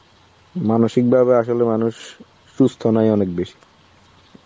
মানসিকভাবে আসলে মানুষ সুস্থ নয় অনেক বেশি.